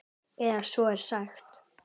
Eða svo er sagt.